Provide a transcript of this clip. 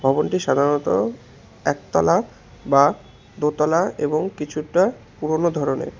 ভবনটি সাধারণত একতলা বা দোতলা এবং কিছুটা পুরোনো ধরনের।